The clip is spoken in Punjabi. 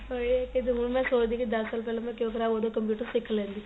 ਉਹੀ ਕੀਤੇ ਹੁਣ ਮੈਂ ਸੋਚਦੀ ਆ ਕੀ ਦੱਸ ਸਾਲ ਮੈਂ ਕਿਉ ਖਰਾਬ ਉਹਦੋ computer ਸਿਖ ਲੈਂਦੀ